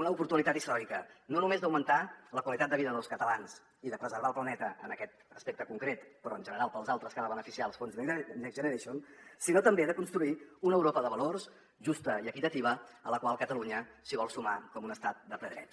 una oportunitat històrica no només d’augmentar la qualitat de vida dels catalans i de preservar el planeta en aquest aspecte concret però en general pels altres que han de beneficiar els fons next generation sinó també de construir una europa de valors justa i equitativa a la qual catalunya s’hi vol sumar com un estat de ple dret